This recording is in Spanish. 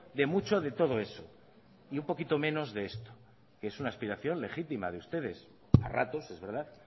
de mucho de todo eso y un poquito menos de esto que es una aspiración legítima de ustedes a ratos es verdad